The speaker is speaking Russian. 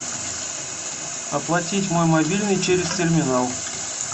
оплатить мой мобильный через терминал